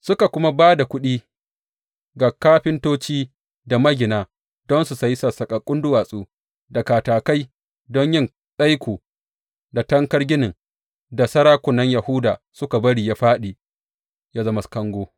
Suka kuma ba da kuɗi ga kafintoci da magina don su sayi sassaƙaƙƙun duwatsu, da katakai don yin tsaiko da tankar ginin da sarakunan Yahuda suka bari yă fāɗi ya zama kango.